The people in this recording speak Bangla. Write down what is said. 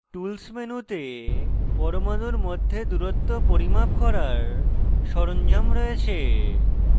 tools মেনুতে পরমাণুর মধ্যে দূরত্ব পরিমাপ করার সরঞ্জাম রয়েছে